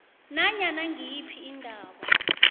nanyana ngiyiphi indaba